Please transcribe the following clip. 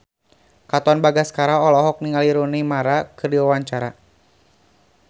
Katon Bagaskara olohok ningali Rooney Mara keur diwawancara